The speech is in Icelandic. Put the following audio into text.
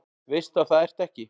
Veist að það ertu ekki.